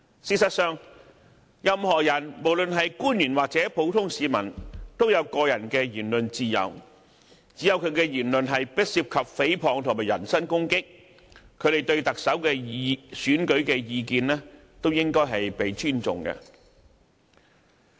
事實上，任何人，無論是官員或普通市民，都有個人的言論自由，只要其言論不涉及誹謗和人身攻擊，他們對特首選舉的意見都應該受到尊重。